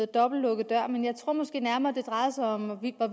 dobbeltlukkede døre men jeg tror måske nærmere det drejede sig om hvorvidt der